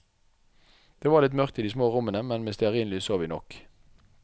Det var litt mørkt i de små rommene, men med stearinlys så vi nok.